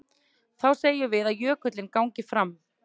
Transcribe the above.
Þá segjum við að jökullinn gangi fram.